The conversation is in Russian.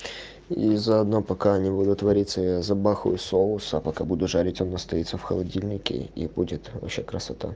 и заодно пока они будут вариться я забахаю соуса пока буду жарить он настоится в холодильнике и будет красота